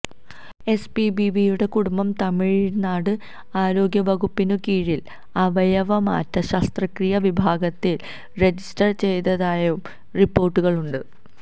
എസ്പിബിയുടെ കുടുംബം തമിഴ്നാട് ആരോഗ്യവകുപ്പിനു കീഴിലെ അവയവമാറ്റ ശസ്ത്രക്രിയാ വിഭാഗത്തില് റജിസ്റ്റര് ചെയ്തതായും റിപ്പോര്ട്ടുകളുണ്ട്